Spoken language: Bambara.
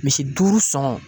Misi duuru sɔngɔn.